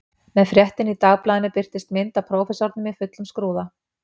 Með fréttinni í dagblaðinu birtist mynd af prófessornum í fullum skrúða